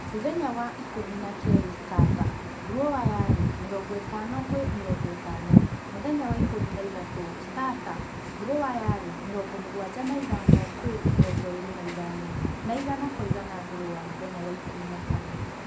Mũthenya wa ikũmi na keli starter: grower ari 50:50, mũthenya wa ikũmi na ithatu, starter: grower arĩ 75:25 na igana kwa igana grower mũthenya wa ikũmi na kana